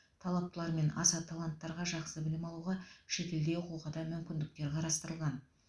талаптылар мен аса таланттарға жақсы білім алуға шетелде оқуға да мүмкіндіктері қарастырылған